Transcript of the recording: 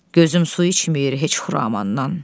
Gözüm su içməyir heç Xuramandan.